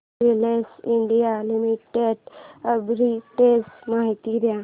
Havells India limited arbitrage माहिती दे